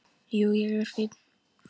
Jú, ég er fínn.